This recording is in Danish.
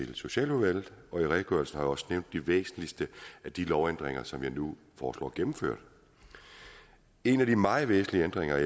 til socialudvalget og i redegørelsen har jeg også nævnt de væsentligste af de lovændringer som jeg nu foreslår gennemført en af de meget væsentlige ændringer er